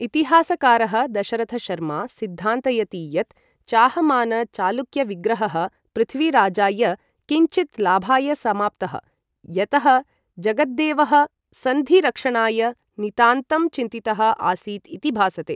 इतिहासकारः दशरथशर्मा सिद्धान्तयति यत् चाहमान चालुक्य विग्रहः पृथ्वीराजाय किञ्चित् लाभाय समाप्तः, यतः जगद्देवः सन्धि रक्षणाय नितान्तं चिन्तितः आसीत् इति भासते।